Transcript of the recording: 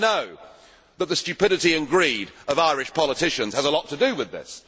I know that the stupidity and greed of Irish politicians has a lot to do with this.